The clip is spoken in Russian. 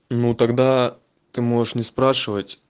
ну тогда ты можешь не спрашивать